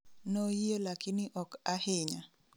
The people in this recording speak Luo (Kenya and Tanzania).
Noyie lakini ok ahinya